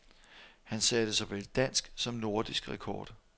Han satte såvel dansk som nordisk rekord.